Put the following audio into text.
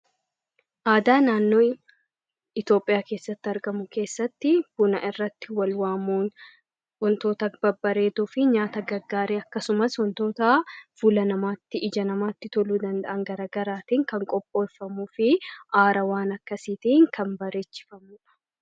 Aadaa naannoo Itoophiyaa keessatti, buna irratti wal waamuun wantoota babbareedoo fi meeshaa gaarii akkasumas wantoota ija namaatti tolan garaagaraatiin qopheeffamuu kan danda'uu fi haarawaan akkasiitiin kan bareechifamudha.